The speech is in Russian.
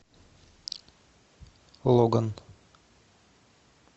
логан